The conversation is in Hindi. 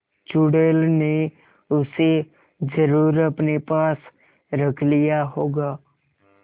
चुड़ैल ने उसे जरुर अपने पास रख लिया होगा